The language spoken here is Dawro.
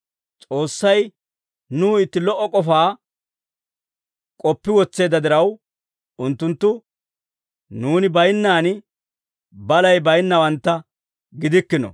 S'oossay nuw itti lo"o k'ofaa k'oppi wotseedda diraw, unttunttu nuuni baynnaan balay baynnawantta gidikkino.